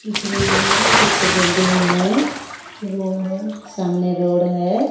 पीछे बिल्डिंग पीछे बिल्डिंग है रोड है सामने रोड है।